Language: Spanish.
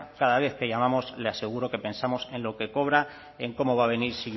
cada vez que llamamos le aseguro que pensamos en lo que cobra en cómo va a venir